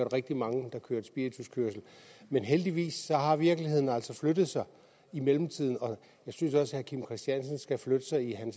rigtig mange der kørte spirituskørsel men heldigvis har virkeligheden altså flyttet sig i mellemtiden og jeg synes også herre kim christiansen skal flytte sig i